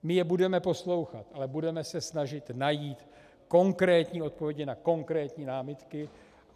My je budeme poslouchat, ale budeme se snažit najít konkrétní odpovědi na konkrétní námitky.